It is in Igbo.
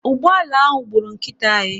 Ụgbọala ahụ gburu nkịta anyị.